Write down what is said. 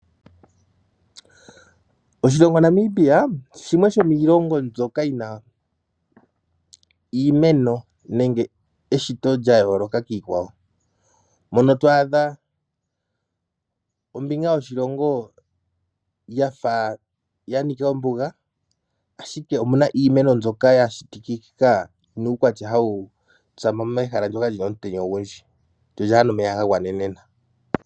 Oshilongo Namibia shimwe shomiilongo mbyoka yi na iimeno nenge eshito lya yooloka kiikwawo mono to adha ombinga yoshilongo ya fa ya nika ombuga, ashike omu na iimeno mbyoka ya shitikika yi na uukwatya hawu tsama mehala moka mu na omutenya ogundji lyo lyaa na omeya ga gwanenenena.